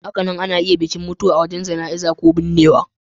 Hakanan ana iya kiran bikin mutuwa azaman Jana'iza ko binnewa.